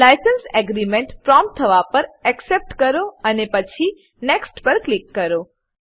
licence agreement license agreement prompt થવા પર accept accept કરો અને પછી નેક્સ્ટ નેક્સ્ટ પર ક્લિક કરો